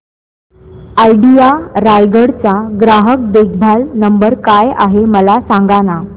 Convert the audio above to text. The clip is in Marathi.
आयडिया रायगड चा ग्राहक देखभाल नंबर काय आहे मला सांगाना